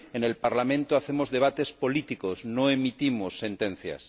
En el Parlamento hacemos debates políticos, no emitimos sentencias.